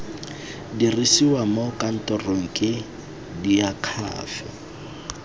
dirisiwa mo kantorong ke diakhaefe